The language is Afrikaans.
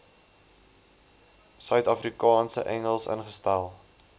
suidafrikaanse engels ingestel